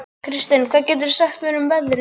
Kirsten, hvað geturðu sagt mér um veðrið?